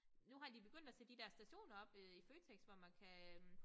Nu har de begyndt at sætte de der stationer op øh i Føtex hvor man kan øh